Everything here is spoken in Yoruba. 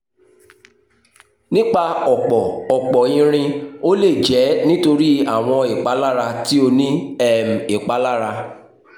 nipa ọpọ ọpọ irin o le jẹ nitori awọn ipalara ti o ni um ipalara